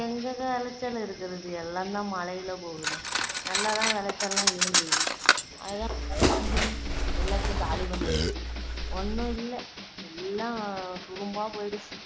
எங்கங்க விளைச்சல் இருக்குறது எல்லாந்தான் மழையில போகுது நல்லா தான் விளைச்சல் எல்லாம் இருந்துது அதான் மழை வந்து எல்லாத்தையும் காலி பண்ணிடுச்சி. ஒண்ணும் இல்ல எல்லாம் துரும்பா போயிடுச்சு